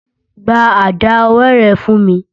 Gba àdá ọwọ́ rẹ̀ fún mi!